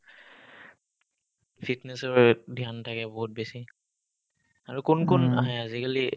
fitness ৰ বাবে dhyan থাকে বহুত বেছি আৰু কোন কোন আহে আজিকালি ?